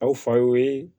Aw fa y'o ye